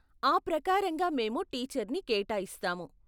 ఆ ప్రకారంగా మేము టీచర్ని కేటాయిస్తాము.